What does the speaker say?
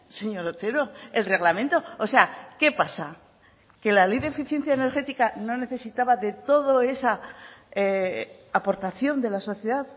señor otero el reglamento o sea qué pasa que la ley de eficiencia energética no necesitaba de todo esa aportación de la sociedad